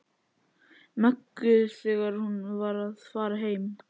Möggu þegar hún var að fara heim.